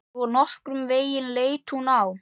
Svona nokkurn veginn leit hún út: